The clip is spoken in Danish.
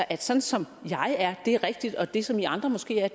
at sådan som jeg er er det rigtige og det som i andre måske er er